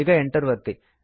ಈಗ Enter ಒತ್ತಿ